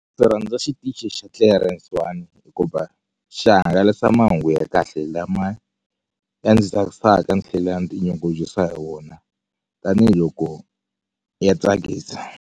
Ndzi rhandza xitichi xa clearance one hikuva xihangalasa mahungu ya kahle lama ya ndzi tsakisaka ni tlhela ni ti nyungubyisa hi wona tanihiloko ya tsakisa.